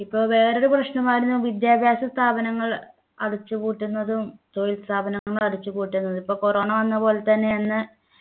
ഇപ്പൊ വേറൊരു പ്രശ്നമായിരുന്നു വിദ്യാഭ്യാസ സ്ഥാപനങ്ങൾ അടച്ചുപൂട്ടുന്നതും തൊഴിൽ സ്ഥാപനങ്ങൾ അടച്ചുപൂട്ടുന്നതും പ്പോ corona വന്നപ്പോലെ തന്നെ അന്ന്